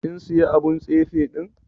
Kin siya abun tsefe din?